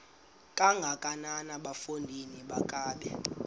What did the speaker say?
kangakanana bafondini makabe